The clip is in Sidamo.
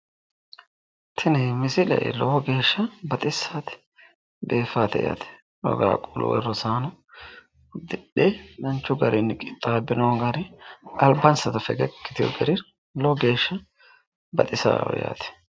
tini misile lowo geeshsha baxissaate biifaate yaate rosaano uddidhe danchu garinni qixxaabbino gari albansano fegegi yitino gari addintanni baxisaaho yaate.